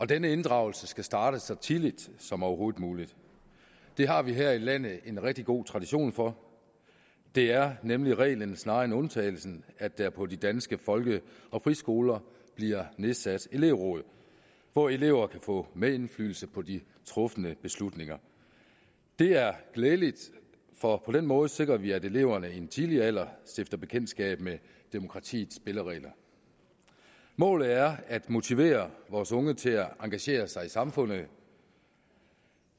den inddragelse skal starte så tidligt som overhovedet muligt det har vi her i landet en rigtig god tradition for det er nemlig reglen snarere end undtagelsen at der på de danske folke og friskoler bliver nedsat elevråd hvor elever kan få medindflydelse på de trufne beslutninger det er glædeligt for på den måde sikrer vi at eleverne i en tidlig alder stifter bekendtskab med demokratiets spilleregler målet er at motivere vores unge til at engagere sig i samfundet